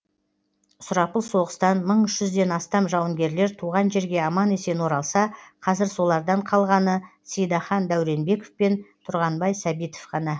сұрапыл соғыстан мың үш жүзден астам жауынгерлер туған жерге аман есен оралса қазір солардан қалғаны сейдахан дәуренбеков пен тұрғанбай сәбитов ғана